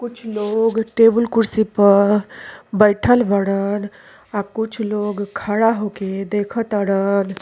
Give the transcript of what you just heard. कुछ लोग टेबुल कुर्सी प बइठल बड़न। आ कुछ लोग खड़ा होके देख तड़न।